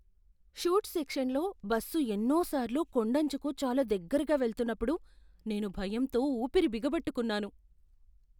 ఘాట్ సెక్షన్లో బస్సు ఎన్నో సార్లు కొండంచుకు చాలా దగ్గరగా వెళ్తున్నప్పుడు నేను భయంతో ఊపిరి బిగబట్టుకున్నాను.